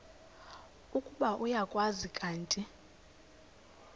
ukuba uyakwazi kanti